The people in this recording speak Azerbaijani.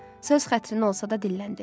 Söz xətrinə olsa da dilləndi.